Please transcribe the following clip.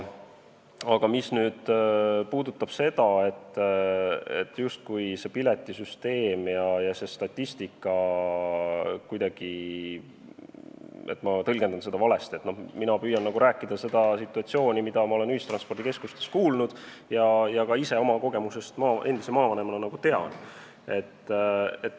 Aga mis puudutab seda, et ma justkui tõlgendan statistikat ja piletisüsteemi andmeid valesti, siis mina püüan rääkida sellest situatsioonist, mille kohta ma olen ühistranspordikeskustest kuulnud ja ka ise oma kogemusest endise maavanemana tean.